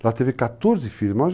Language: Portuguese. Ela teve 14